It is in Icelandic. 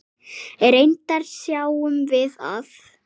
Reyndar sjáum við að